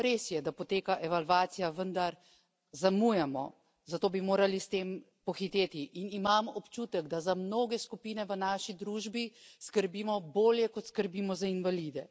Res je, da poteka evalvacija, vendar zamujamo, zato bi morali s tem pohiteti, in imam občutek, da za mnoge skupine v naši družbi skrbimo bolje, kot skrbimo za invalide.